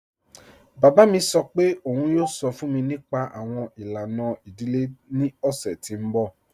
Baba mi sọ́ pẹ̀ ọ̀un yoo sọ́ fun mi nípa awọn ilana idílé ni ọ̀ṣẹ̀ ti n bọ́.